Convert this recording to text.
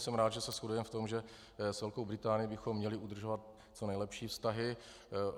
Jsem rád, že se shodujeme v tom, že s Velkou Británií bychom měli udržovat co nejlepší vztahy.